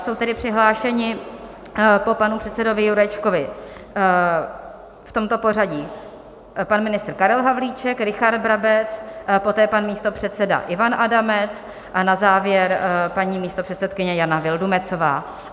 Jsou tedy přihlášení po panu předsedovi Jurečkovi v tomto pořadí: pan ministr Karel Havlíček, Richard Brabec, poté pan místopředseda Ivan Adamec a na závěr paní místopředsedkyně Jana Vildumetzová.